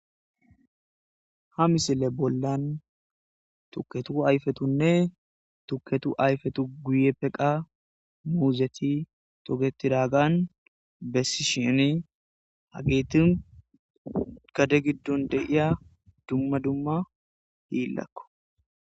ha misile bollan tukketu ayfetunne tuketu ayfetu guye peqa muuzeti togetiragan bessi shini hageetin gade giddon deiya dumma dumma hiillakko